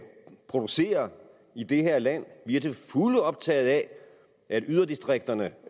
producere i det her land vi er til fulde optaget af at yderdistrikterne